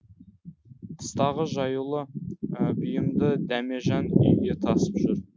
тыстағы жаюлы бұйымды дәмежан үйге тасып жүр